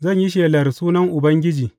Zan yi shelar sunan Ubangiji.